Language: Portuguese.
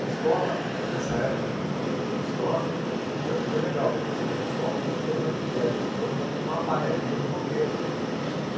Na escola, hum nessa época que eu estou falando do destoque, também foi legal, porque eu cheguei na escola contando e aí a gente formou uma panelinha de roqueiro já.